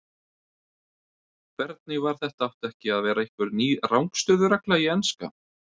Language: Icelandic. Hvernig var þetta átti ekki að vera einhver ný rangstöðu-regla í enska?